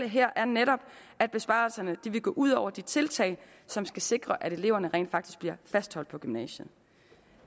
her er netop at besparelserne vil gå ud over de tiltag som skal sikre at eleverne rent faktisk bliver fastholdt på gymnasiet